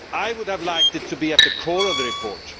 I would have liked it to be at the core of the report.